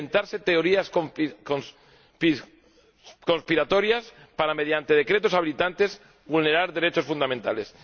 de inventarse teorías conspiratorias para, mediante decretos habilitantes, vulnerar derechos fundamentales.